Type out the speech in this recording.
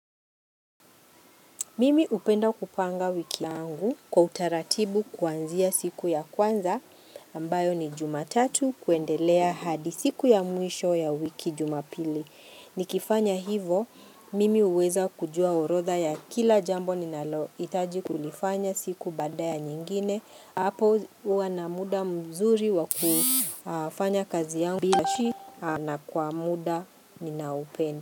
Mimi upenda kupanga wiki yangu kwa utaratibu kuanzia siku ya kwanza ambayo ni jumatatu kuendelea hadisiku ya mwisho ya wiki jumapili. Nikifanya hivo, mimi uweza kujua urodha ya kila jambo ninalo itaji kulifanya siku baadaya nyingine. Apo uwa na muda mzuri wa kufanya kazi yangu bilashi na kwa muda ninaupenda.